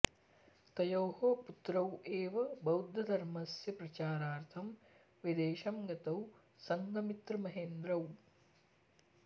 तयोः पुत्रौ एव बौद्धधर्मस्य प्रचारार्थं विदेशं गतौ सङ्घमित्रमहेन्द्रौ